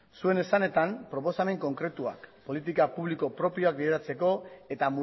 zuen esanetan proposamen konkretuak politika publiko propioak bideratzeko eta